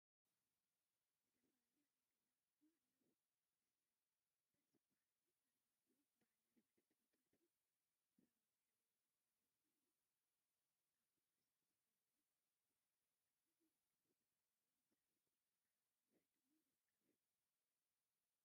ዝተፈላለዩ ናይ ገዛ አቁሑ አለው፡፡ እሰይ ደስ በሃሊ አርማድዮ በዓል አርባዕተ ተከፋቲ ብረውን ሕብሪ ዘለዎ ኮይኑ፤ አብ እርሳስ ሕብሪ ድሕረ ገፅ ከዓ ይርከብ፡፡ ዝተፈላለዩ መፅሓፍቲ ከዓ አብ ውሽጡ ይርከቡ፡፡